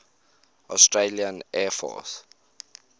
australian air force